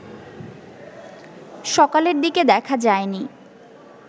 সকালের দিকে দেখা যায়নি